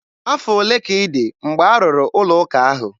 Afọ ole ka ị dị mgbe arụrụ ụlọ ụka ahụ?